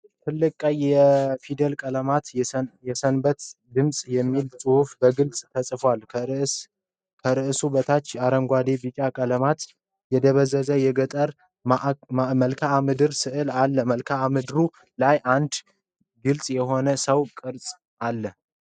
ትልቅ ቀይ የፊደል ቀለም "የሰንበት ድምፅ" የሚል ጽሑፍ በግልጽ ተጽፏል። ከርዕሱ በታች አረንጓዴና ቢጫ ቀለማት የበዙበት የገጠር መልክአ ምድር ሥዕል አለ። በመልክአ ምድሩ ላይ አንድ ግልጽ የሆነ የሰው ቅርጽአለ።